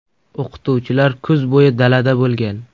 O‘qituvchilar kuz bo‘yi dalada bo‘lgan.